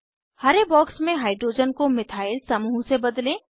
हरे box में hydrogen को methyl समूह से बदलें